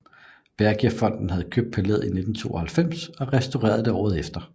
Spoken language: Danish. Bergiafonden havde købt palæet i 1992 og restaureret det året efter